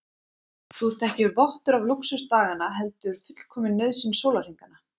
Þú ert ekki vottur af lúxus daganna heldur fullkomin nauðsyn sólarhringanna.